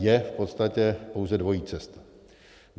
Je v podstatě pouze dvojí cesta.